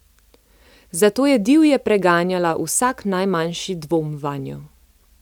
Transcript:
Zato je divje preganjala vsak najmanjši dvom vanjo.